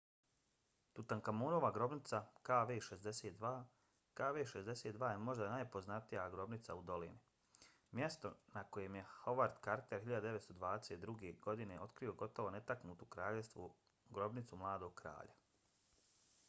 tutankamonova grobnica kv62. kv62 je možda najpoznatija grobnica u dolini mjesto na kojem je howard carter 1922. godine otkrio gotovo netaknutu kraljevsku grobnicu mladog kralja